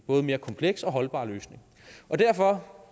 både mere komplet og holdbar løsning derfor